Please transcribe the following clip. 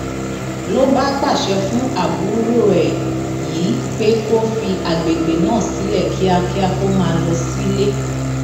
ló bá pàṣẹ fún àbúrò ẹ yìí pé kó fi àgbègbè náà sílẹ kíákíá kó máa lọ sílé